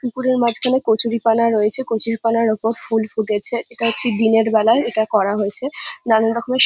পুকুরের মাঝখানে কচুরিপানা রয়েছে কচুরিপানার ওপর ফুল ফুটেছে এটা হচ্ছে দিনের বেলায় এটা করা হয়েছে নানান রকমের--